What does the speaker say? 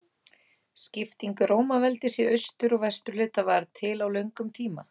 Skipting Rómaveldis í austur- og vesturhluta varð til á löngum tíma.